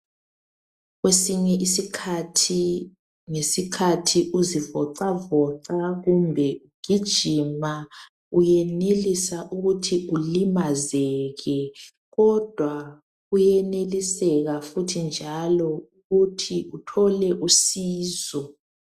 Kwesinye isikhathi ngesikhathi uzivocavoca kumbe ugijima uyenelisa ukuthi ulimazeke kodwa kuyeneliseka futhi njalo ukuthi uthole usizo.